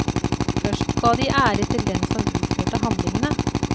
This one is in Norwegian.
Først ga de ære til den som utførte handlingene.